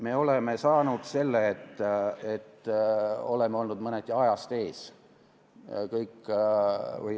Me oleme saanud selle, et oleme olnud mõneti ajast ees.